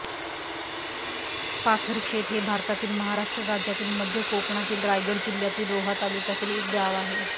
पाथरशेत हे भारतातील महाराष्ट्र राज्यातील मध्य कोकणातील रायगड जिल्ह्यातील रोहा तालुक्यातील एक गाव आहे